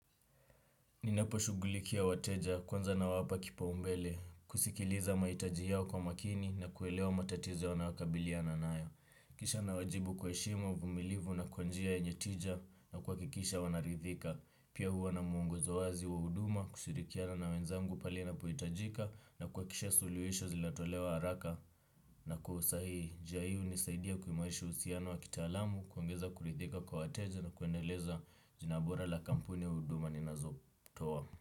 HNinapo shughulikia wateja kwanza na wapa kipa umbele, kusikiliza mahitaji yao kwa makini na kuelewa matatizo wanayokabiliana nayo. Kisha na wajibu kwa heshima, uvumilivu na kwa njia yenye tija na kuha kikisha wanarithika. Pia huwa na muongozo wazi wa huduma kushirikiana na wenzangu pale ina pohitajika na kuhakikisha suluhisho zinatolewa haraka. Na kwa usahihi njia unisaidia kuimarisha uhusiano wa kitaalamu. Kuongeza kurithika kwa wateja na kuendeleza jina bora la kampuni ya huduma ni nazo toa.